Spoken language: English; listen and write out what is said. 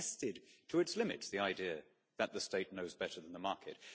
We have tested to its limits the idea that the State knows better than the market.